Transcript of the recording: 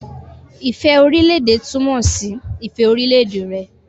Ifẹ orilẹ-ede tumọ si ifẹ orilẹ-ede rẹ.